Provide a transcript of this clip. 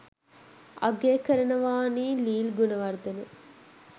අගය කරනවානි ලීල් ගුණවර්ධන